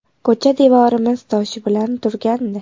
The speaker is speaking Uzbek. Ko‘cha devorimiz toshi bilan turgandi.